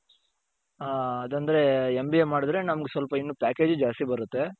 ಹ ಅದoದ್ರೆ MBA ಮಾಡುದ್ರೆ ನಮ್ಗೆ ಸ್ವಲ್ಪ ಇನ್ನು packageಜು ಜಾಸ್ತಿ ಬರುತ್ತೆ .